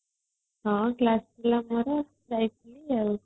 ହଁ class ଥିଲା ମୋର ଯାଇଥିଲି ଆଉ